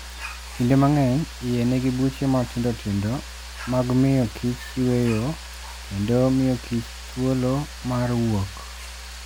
Kinde mang'eny, iye nigi buche matindo tindo mag miyo kich yueyo kendo miyo kich thuolo mar wuok.